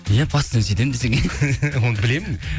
иә постоянно сөйтем десең иә оны білемін